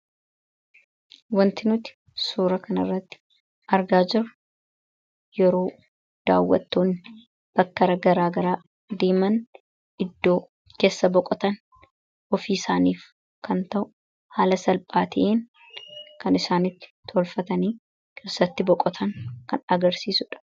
wantinuti suura kanirratti argaa jiru yeroo daawwattuun bakkara garaagaraa deeman iddoo keessa boqotan ofii isaaniif kan ta'u haala salphaati'iin kan isaanitti tolfatanii kirsatti boqotan kan agarsiisudha